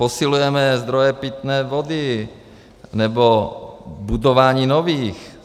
Posilujeme zdroje pitné vody nebo budování nových.